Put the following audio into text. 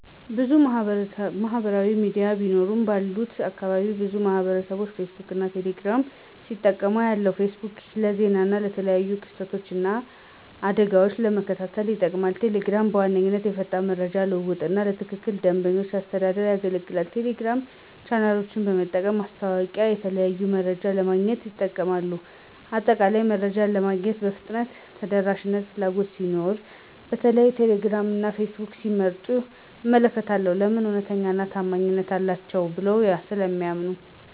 **ብዙ ማህበራዊ ሚዲያ ቢኖሩም፦ ባለሁበት አካባቢ ብዙ ማህበረሰብቦች ፌስቡክን እና ቴሌ ግራምን ሲጠቀሙ አያለሁ፤ * ፌስቡክ: ለዜና እና የተለያዩ ክስተቶችን እና አደጋወችን ለመከታተል ይጠቀሙበታል። * ቴሌግራም: በዋነኛነት ለፈጣን የመረጃ ልውውጥ እና ለትላልቅ ቡድኖች አስተዳደር ያገለግላል። የቴሌግራም ቻናሎችን በመጠቀም ማስታወቂያወችንና የተለያዩ መረጃዎችን ለማግኘት ይጠቀሙበታል። በአጠቃላይ፣ መረጃ ለማግኘት የፍጥነትና የተደራሽነት ፍላጎት ሲኖር በተለይም ቴሌግራም እና ፌስቡክን ሲመርጡ እመለከታለሁ። *ለምን? እውነተኛና ታማኝ ናቸው ብለው ስለሚያምኑ።